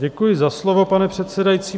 Děkuji za slovo, pane předsedající.